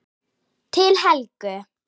Til Helgu.